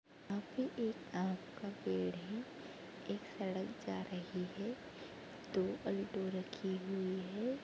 यहाँ पे एक आम का पेड़ है एक सड़क जा रही है दो अल्टो रखी हुई है।